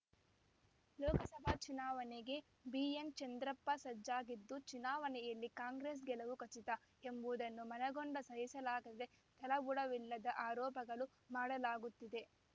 ಲೋಕಸಭಾ ಚುನಾವಣೆಗೆ ಬಿಎನ್‌ ಚಂದ್ರಪ್ಪ ಸಜ್ಜಾಗಿದ್ದು ಚುನಾವಣೆಯಲ್ಲಿ ಕಾಂಗ್ರೆಸ್‌ ಗೆಲವು ಖಚಿತ ಎಂಬುದನ್ನು ಮನಗೊಂಡು ಸಹಿಸಲಾಗದೆ ತಳಬುಡವಿಲ್ಲದ ಆರೋಪಗಳ ಮಾಡಲಾಗುತ್ತಿದೆ